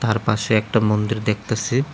আর পাশে একটা মন্দির দেখতেসি।